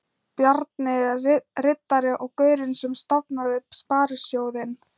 Bjarni riddari og gaurinn sem stofnaði Sparisjóðinn.